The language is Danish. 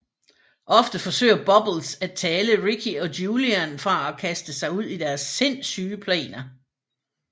Ofte forsøger Bubbles at tale Ricky og Julian fra at kaste sig ud i deres sindssyge planer